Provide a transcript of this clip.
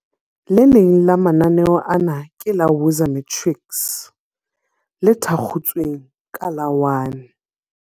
Le leng la mananeo ana ke la Woza Matrics, le thakgotsweng ka la 1.